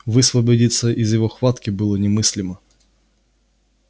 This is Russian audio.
высвободиться из его хватки было немыслимо